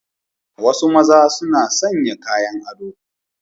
Wasu maza suna sanya kayan ado.